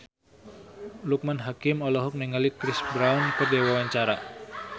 Loekman Hakim olohok ningali Chris Brown keur diwawancara